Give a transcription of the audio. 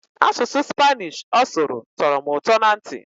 Asụsụ Spanish ọ sụrụ tọrọ m ụtọ na ntị.